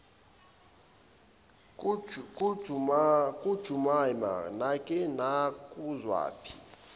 kajumaima nake nakuzwaphi